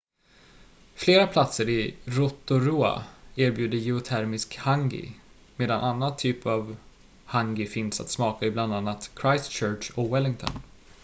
flera platser i rotorua erbjuder geotermisk hangi medan annan typ av hangi finns att smaka i bland annat christchurch och wellington